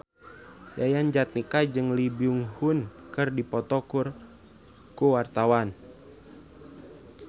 Yayan Jatnika jeung Lee Byung Hun keur dipoto ku wartawan